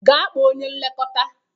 Gaa kpọọ onye nlekọta